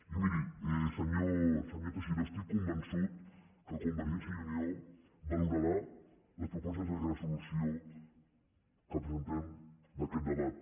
i miri senyor teixidó estic convençut que convergència i unió valorarà les propostes de resolució que presentem d’aquest debat